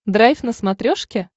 драйв на смотрешке